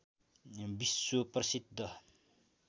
विश्व प्रसिद्ध